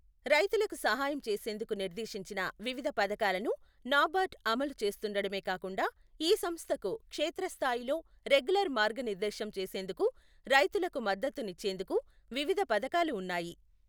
రైతులకు సహాయం చేసేందుకు నిర్దేశించిన వివిధ పథకాలను నాబార్డు అమలు చేస్తుండడమే కాకుండా ఈ సంస్థకు క్షేత్రస్థాయిలో రెగ్యులర్ మార్గనిర్దేశం చేసేందుకు, రైతులకు మద్దతు నిచ్చేందుకు వివిధ పథకాలు ఉన్నాయి.